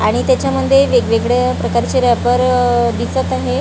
आणि त्याच्यामध्ये वेगवेगळ्या प्रकारचे रबर आह दिसत आहे.